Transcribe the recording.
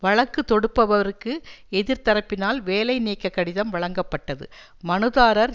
வழக்கு தொடுப்பவருக்கு எதிர்தரப்பினால் வேலைநீக்க கடிதம் வழங்கப்பட்டது மனுதாரர்